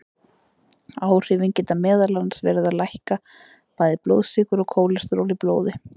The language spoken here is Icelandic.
Áhrifin geta meðal annars verið að lækka bæði blóðsykur og kólesteról í blóði.